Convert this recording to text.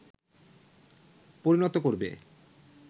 পরিণত করবে